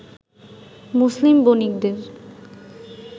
মুসলিম বণিকদের